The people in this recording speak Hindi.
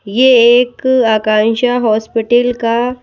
ये एक आकांक्षा हॉस्पिटल का--